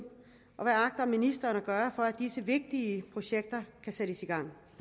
og hvad agter ministeren at gøre for at disse vigtige projekter kan sættes i gang